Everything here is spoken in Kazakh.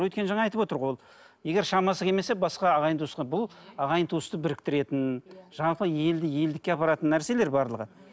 өйткені жаңа айтып отыр ғой ол егер шамасы келмесе басқа ағайын туысқа бұл ағайын туысты біріктіретін жаңағы елді елдікке апаратын нәрселер барлығы